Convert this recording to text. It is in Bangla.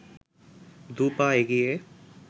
দু’পা এগিয়ে